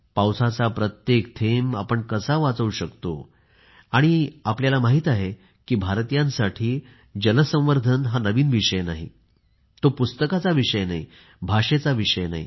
पावसाचा प्रत्येक थेंब आपण कसा वाचवू शकतो आणि आम्हाला माहित आहे की भारतीयांसाठी जल संवर्धन हा नवीन विषय नाही तो पुस्तकांचा विषय नाही हा भाषेचा विषय नाही